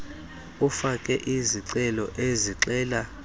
ufake izicelo ezixela